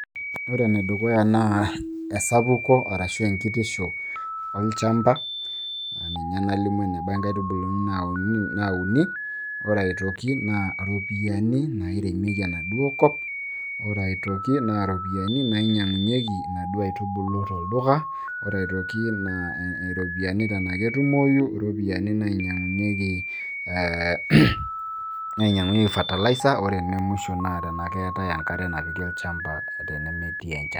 ore ene dukuya naa esapuku arashu enkitisho, olchampa, ninye nalimu eneba inkaitubulu naauni, ore aitoki naa iropiyiani nairemieki onaduoo kop, ore aitoki naa iropiyiani nainyiangunyeki enaduoo aitubulu tolduka, ore aitoki naa iropiyiani tenaa ketumoyu, iropiyiani nainyiang'unyieki ee fertilizer, ore ene musho naa enkare tenaa keetae enkare napiki oladuoo shampa tenemetii enchan.